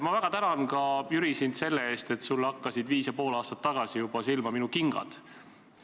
Ma väga tänan ka, Jüri, sind selle eest, et sulle hakkasid juba viis ja pool aastat tagasi silma minu kingad.